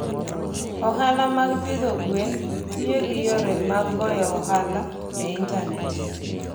Ohala mag pidho gwen tiyo gi yore mag goyo ohala e intanet.